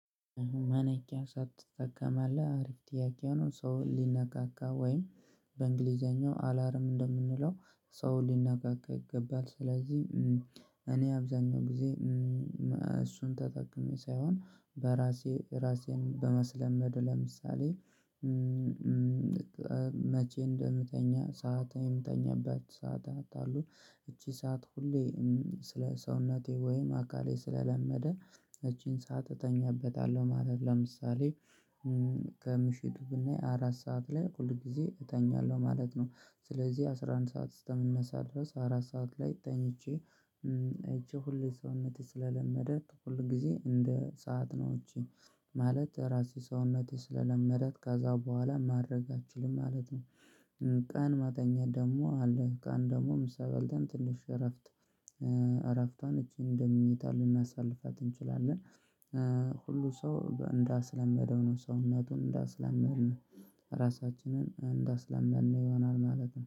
ማንቂያ ሰዓት ትጠቀማለህ? አሪፍ ጥያቄ ነው ሰው ሊነቃቃ ወይም በእንግሊዘኛው አላርም እንደምንለው ሰው ሊነቃቃ ይገባል ስለዚህ እኔ አብዛኛው ጊዜ እሱን ተጠቅሜ ሳይሆን በራሴ ራሴን በማስለመድ ለምሳሌ መቼ እንደምተኛ ሰዓት የምተኛበት ሰዓታት አሉ እቺ ሰዓት ሁሌ ስለ ሰውነቴ ወይም አካሌ ስለለመደ እቺን ሰዓት እተኛበታለሁ ማለት ለምሳሌ ከምሽቱ ብናይ አራት ሰዓት ላይ ሁል ጊዜ እተኛለሁ ማለት ነው ስለዚህ አስራ አንድ ሰዓት እስተምነሳ ድረስ አራት ሰዓት ላይ ተኝቼ አይቼ ሁሌ ሰውነቴ ስለለመደ ሁል ጊዜ እንደ ሰዓት ነው እቺ ማለት ራሴ ሰውነቴ ስለለመዳት ከዛ በኋላ ማድረግ አልችልም ማለት ነው ቀን መተኛት ደግሞ አለ ቀን ደግሞ ምሳ በልተን ትልሽ እረፍት እረፍቷን እቺን እንደ መኝታ ልናሳልፋት እንችላለን ሁሉም ሰው እንዳስለመደው ነው ሰውነቱን እንዳስለመድን ራሳችንን እንዳስለመድን ይሆናል ማለት ነው